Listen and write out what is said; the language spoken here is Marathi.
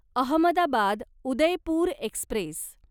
अहमदाबाद उदयपूर एक्स्प्रेस